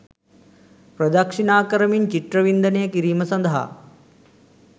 ප්‍රදක්‍ෂිණා කරමින් චිත්‍ර වින්දනය කිරීම සඳහා